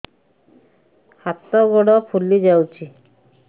ହାତ ଗୋଡ଼ ଫୁଲି ଯାଉଛି